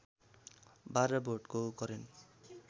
बाह्र भोल्टको करेन्ट